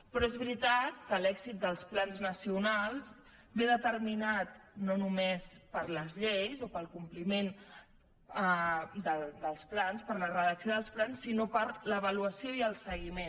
però és veritat que l’èxit dels plans nacionals és determinat no només per les lleis o pel com pliment dels plans per la redacció dels plans sinó per l’avaluació i el seguiment